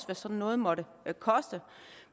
hvad sådan noget måtte koste